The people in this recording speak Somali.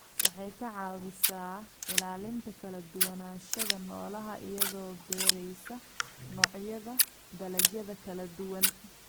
Waxay ka caawisaa ilaalinta kala duwanaanshaha noolaha iyadoo beeraysa noocyada dalagyada kala duwan.